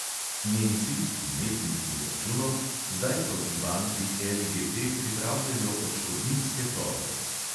Nemci – imetniki računov – zdaj proti banki LGT pripravljajo odškodninske tožbe.